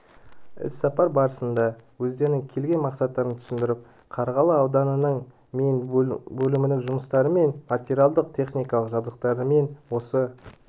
іс-сапар барысында өздерінің келген мақсаттарын түсіндіріп қарғалы ауданының мен бөлімінің жұмыстарымен және материалдық-техникалық жабдықталуымен осы